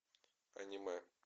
аниме